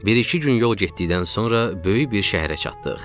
Bir-iki gün yol getdikdən sonra böyük bir şəhərə çatdıq.